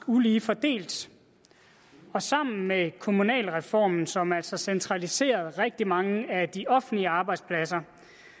ulige fordelt sammen med kommunalreformen som altså centraliserede rigtig mange af de offentlige arbejdspladser